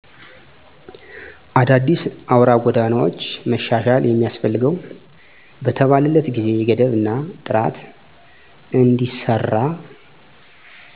አዳዲስ አውራ ጎዳናዎች መሻሻል የሚያስፈልገው በተባለለት የጊዜ ገደብ እና ጥራት እንዲሰራ